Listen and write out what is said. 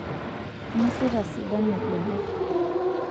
inosita sidan ibenek